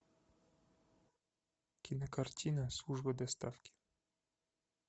кинокартина служба доставки